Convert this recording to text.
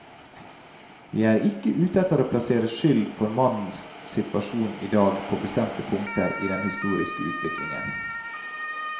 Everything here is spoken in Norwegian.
Vi er ikke ute etter å plassere skyld for mannens situasjon i dag på bestemte punkter i den historiske utviklingen.